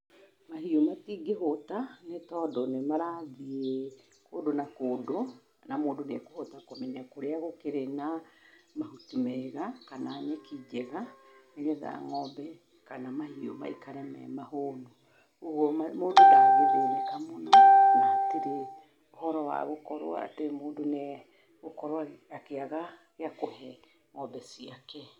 Mahiũ matingĩhũta, nĩtondũ nĩmarathiĩ kũndũ na kũndũ na mũndũ nĩ akũhota kũmenya kũrĩa gũkĩrĩ na mahuti mega kana nĩkĩ kĩega nĩgetha ngombe kana mahiũ maikare me mahũnu, ũguo mũndũ ndagĩthĩnĩka mũno ,na hatirĩ ũhoro wa gũkorwo atĩ mũndũ nĩ agũkorwo akĩaga gĩa kũhe ngombe ciake.